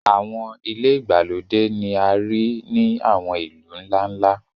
àwọn ile igbalode ni a rii ni àwọn ilu nla-nla.